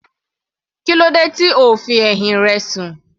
Kílódé tí o fi ẹ̀hìn rẹ sùn.